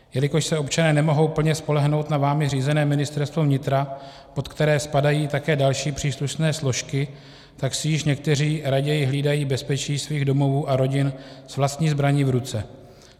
Jelikož se občané nemohou plně spolehnout na vámi řízené Ministerstvo vnitra, pod které spadají také další příslušné složky, tak si již někteří raději hlídají bezpečí svých domovů a rodin s vlastní zbraní v ruce.